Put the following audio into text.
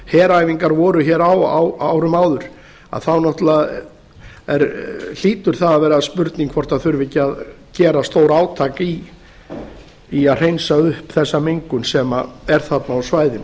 heræfingar voru hér á á árum áður þá náttúrlega hlýtur það að vera spurning hvort það þurfi ekki að gera stórátak í að hreinsa upp þessa mengun sem er þarna á svæðinu